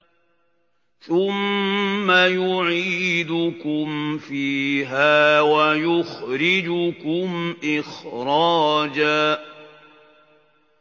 ثُمَّ يُعِيدُكُمْ فِيهَا وَيُخْرِجُكُمْ إِخْرَاجًا